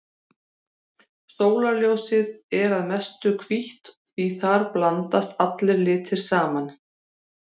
Sólarljósið er að mestu hvítt því þar blandast allir litir saman.